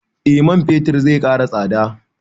Eh man fetir zai ƙara tsada